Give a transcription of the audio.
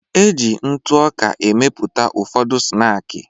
E ji ntụ ọka emepụta ụfọdụ snaakị.